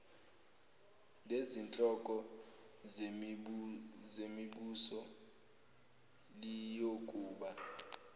lezinhloko zemibuso liyokuba